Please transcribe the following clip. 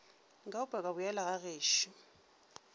nka upša ka boela gagešo